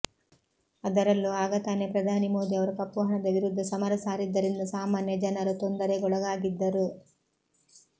ಅದರಲ್ಲೂ ಆಗತಾನೆ ಪ್ರಧಾನಿ ಮೋದಿ ಅವರು ಕಪ್ಪುಹಣದ ವಿರುದ್ಧ ಸಮರ ಸಾರಿದ್ದರಿಂದ ಸಾಮಾನ್ಯ ಜನರು ತೊಂದರೆಗೊಳಗಾಗಿದ್ದರು